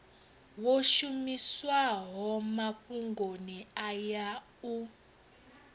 wo shumiswaho mafhungoni aya u